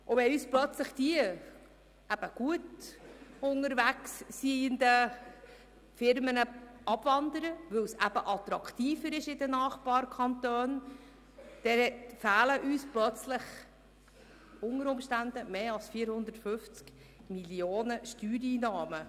Wenn plötzlich diese Firmen, die gut unterwegs sind, aus unserem Kanton abwandern, weil es in den Nachbarkantonen attraktiver ist, fehlen uns plötzlich unter Umständen Steuereinnahmen von mehr als 450 Mio. Franken.